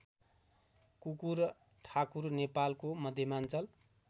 कुकुरठाकुर नेपालको मध्यमाञ्चल